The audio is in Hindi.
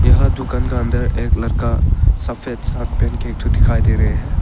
यहां दुकान का अंदर एक लड़का सफेद शर्ट पहन के एक तू दिखाई दे रहे है।